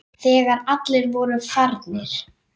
Þegar allir voru farnir.